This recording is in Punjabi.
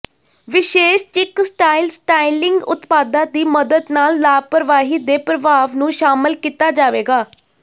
ਵਿਸ਼ੇਸ਼ ਚਿਕ ਸਟਾਈਲ ਸਟਾਈਲਿੰਗ ਉਤਪਾਦਾਂ ਦੀ ਮਦਦ ਨਾਲ ਲਾਪਰਵਾਹੀ ਦੇ ਪ੍ਰਭਾਵ ਨੂੰ ਸ਼ਾਮਲ ਕੀਤਾ ਜਾਵੇਗਾ